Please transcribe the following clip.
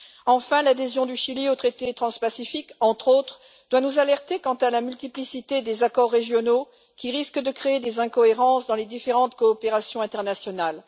Enfin, l'adhésion du Chili au traité transpacifique, entre autres, doit nous alerter quant à la multiplicité des accords régionaux, qui risque de créer des incohérences dans les différentes coopérations internationales.